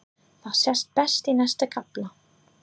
Það sést best í næsta kafla.